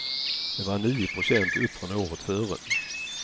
Det var nio procent upp från året före.